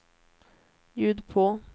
ljud på